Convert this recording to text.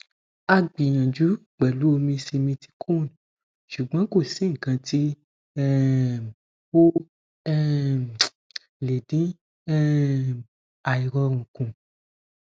agbiyanju pelu omi simithicone sugbon ko si ikan ti um o um le din um airorun kun